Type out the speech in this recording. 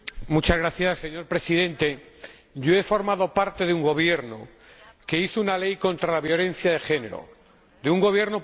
Señor Presidente, yo he formado parte de un gobierno que elaboró una ley contra la violencia de género, de un gobierno paritario.